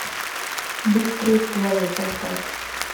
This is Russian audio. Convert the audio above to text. быстрые стволы поставь